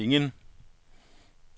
ingen